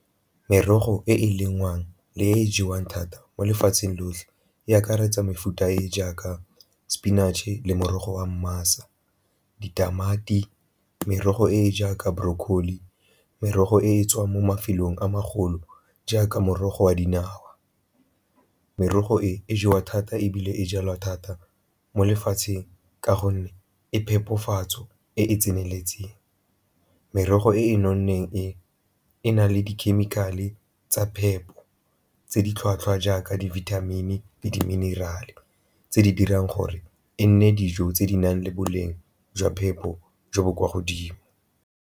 Merogo e e lengwang le e e jewang thata mo lefatsheng lotlhe e akaretsa mefuta e jaaka spinach-e le morogo wa ditamati, merogo e e jaaka broccoli, merogo e e tswang mo mafelong a magolo jaaka morogo wa dinawa. Merogo e e jewa thata ebile e jalwa thata mo lefatsheng ka gonne e phepafatso e e tseneletseng. Merogo e e nonneng e e na le di ke dikhemikhale tsa phepo tse di tlhwatlhwa jaaka di-vitamin-e le di-mineral-e tse di dirang gore e nne dijo tse di nang le boleng jwa phepo jo bo kwa godimo.